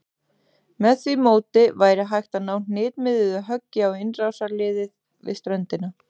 Með því móti væri hægt að ná hnitmiðuðu höggi á innrásarliðið við ströndina.